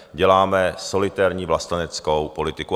Děláme solitérní vlasteneckou politiku.